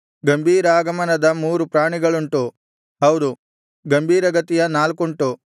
ಗಂಭೀರಾಗಮನದ ಮೂರು ಪ್ರಾಣಿಗಳುಂಟು ಹೌದು ಗಂಭೀರಗತಿಯ ನಾಲ್ಕುಂಟು